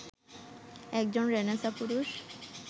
একজন রেঁনেসা পুরুষ